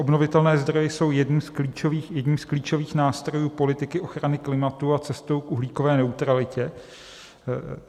Obnovitelné zdroje jsou jedním z klíčových nástrojů politiky ochrany klimatu a cestou k uhlíkové neutralitě.